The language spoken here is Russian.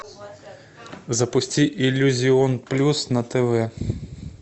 запусти иллюзион плюс на тв